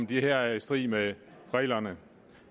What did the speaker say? det her er i strid med reglerne